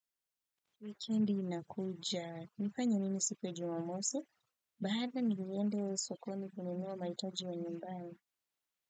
Wikendi inakuja mnafanya nini siku ya jumamosi? Bahatii niliende sokoni kununua mahitaji ya nyumbani.